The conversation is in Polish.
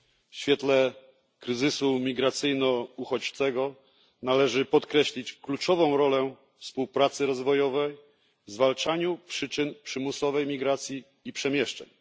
W świetle kryzysu imigracyjno uchodźczego należy podkreślić zasadniczą rolę współpracy rozwojowej w zwalczaniu przyczyn przymusowej migracji i przemieszczeń.